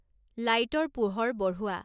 লাইটৰ পোহৰ বঢ়োৱা